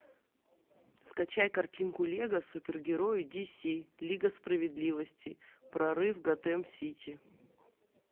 скачай картинку лего супергерои диси лига справедливости прорыв готэм сити